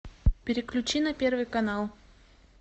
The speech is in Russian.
переключи на первый канал